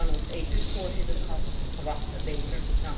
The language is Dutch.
Van ons EU voorzitterschap verwachten we beter.